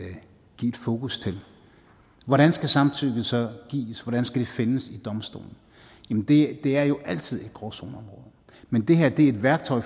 fokus til hvordan skal samtykket så gives hvordan skal det findes i domstolen det er jo altid en gråzoneområde men det her er et værktøj